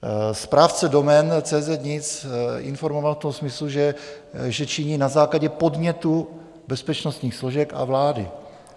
Správce domén CZ.NIC informoval v tom smyslu, že činí na základě podnětu bezpečnostních složek a vlády.